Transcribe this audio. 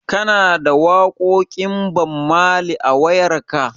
Kana da waƙoƙin Bammali a wayarka?